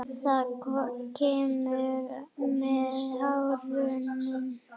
Það kemur með árunum.